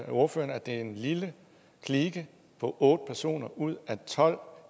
ordføreren at det er en lille klike på otte personer ud af tolv